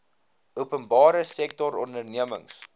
openbare sektor ondernemings